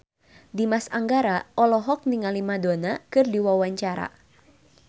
Dimas Anggara olohok ningali Madonna keur diwawancara